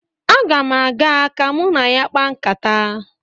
Aga m aga ka mụ na ya kpaa nkata